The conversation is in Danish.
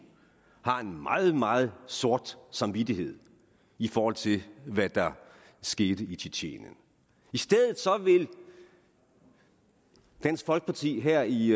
har en meget meget sort samvittighed i forhold til hvad der skete i tjetjenien i stedet vil dansk folkeparti her i